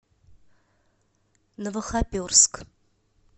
новохоперск